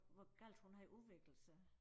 Hvor galt hun havde udviklet sig